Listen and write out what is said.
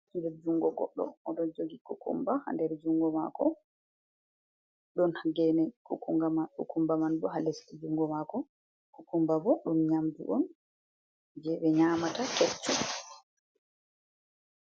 Nder junngo goɗɗo, o ɗon jogi kukumba haa nder junngo maako ɗon geene kukumba man boo haa lest junngo maako, kukumba boo ɗum nyaamndu on jey ɓe nyaamata keccum